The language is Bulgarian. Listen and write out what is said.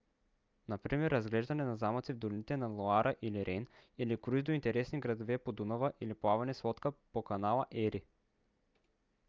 например разглеждане на замъци в долините на лоара или рейн или круиз до интересни градове по дунава или плаване с лодка по канала ери